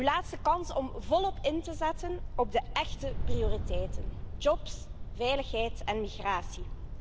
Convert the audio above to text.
Uw laatste kans om volop in te zetten op de echte prioriteiten jobs, veiligheid en migratie.